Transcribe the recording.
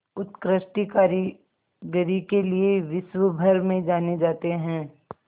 उत्कृष्ट कारीगरी के लिये विश्वभर में जाने जाते हैं